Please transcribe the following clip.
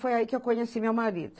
Foi aí que eu conheci meu marido.